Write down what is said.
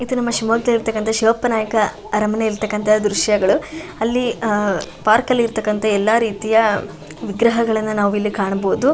ಇದು ನಮ್ಮ ಶಿವಮೊಗ್ಗದಲ್ಲಿ ಇರತಕ್ಕಂತ ಶಿವಪ್ಪ ನಾಯ್ಕ ಅರಮನೆಯಲ್ಲಿ ಇರತಕ್ಕಂತ ದೃಶ್ಯಗಳು. ಅಲ್ಲಿ ಆ ಪಾರ್ಕ್ ಲ್ಲಿ ಇರತಕ್ಕಂತ ಎಲ್ಲ ರೀತಿಯ ಗ್ರಹಗಳನ್ನ ನಾವಿಲ್ಲಿ ಕಾಣಬಹುದು.